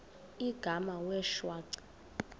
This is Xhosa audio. igama wee shwaca